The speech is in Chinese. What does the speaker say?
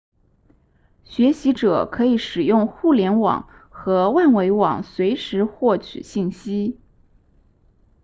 学习者可以使用互联网和万维网随时获取信息